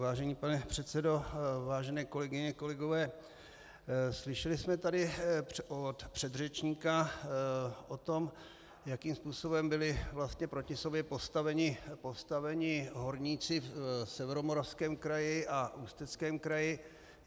Vážený pane předsedo, vážené kolegyně, kolegové, slyšeli jsme tady od předřečníka o tom, jakým způsobem byli vlastně proti sobě postaveni horníci v Severomoravském kraji a Ústeckém kraji.